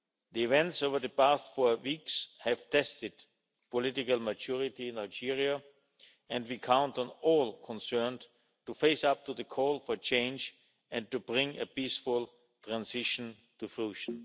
The events over the past four weeks have tested political maturity in Algeria and we count on all concerned to face up to the call for change and to bring a peaceful transition to fruition.